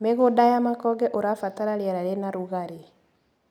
Mĩgũnda ya makonge ũrabatara riera rĩna rugarĩ.